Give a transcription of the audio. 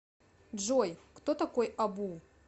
джой кто такой абу